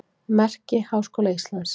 Merki Háskóla Íslands.